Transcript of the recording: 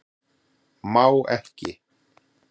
Má ekki